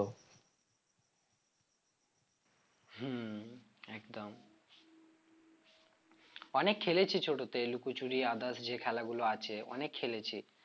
হম একদম অনেক খেলেছি ছোটতে লুকোচুরি others যে খেলা গুলো আছে অনেক খেলেছি